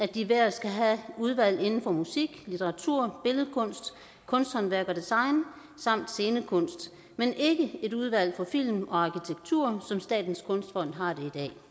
de hver skal have udvalg inden for musik litteratur billedkunst kunsthåndværk og design samt scenekunst men ikke et udvalg for film og arkitektur som statens kunstfond har det